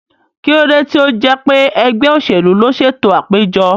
Kí ló dé tí ó jẹ́ pé ẹgbẹ́ òṣèlú ló ṣètò àpéjọ?